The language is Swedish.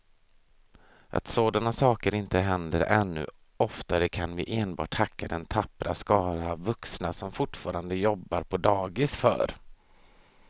Att sådana saker inte händer ännu oftare kan vi enbart tacka den tappra skara vuxna som fortfarande jobbar på dagis för.